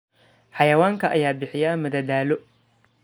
Xayawaanka ayaa bixiya madadaalo.